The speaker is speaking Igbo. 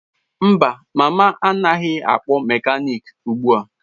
Mba, mama anaghị akpọ mekaniki ugbu a.